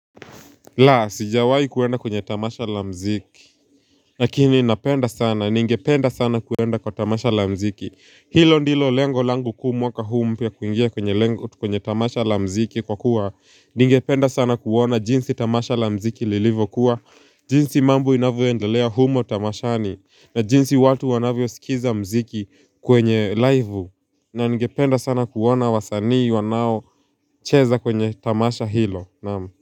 Laa, sijawai kuenda kwenye tamasha la mziki. Lakini napenda sana, ningependa sana kuenda kwa tamasha la mziki. Hilo ndilo lengo langu kuu waka huu mpya kuingia kwenye lengo kwenye tamasha la mziki kwa kuwa ningependa sana kuona jinsi tamasha la mziki lilivo kuwa jinsi mambo inavyo endalea humo tamashani. Na jinsi watu wanavyo skiza mziki kwenye laivu. Na ningependa sana kuona wasanii wanao cheza kwenye tamasha hilo. Naam.